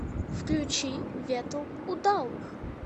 включи ветл удалых